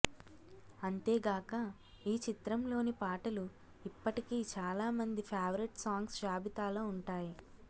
అంతేగాక ఈ చిత్రంలోని పాటలు ఇప్పటికీ చాలా మంది ఫేవరెట్ సాంగ్స్ జాబితాలో ఉంటాయి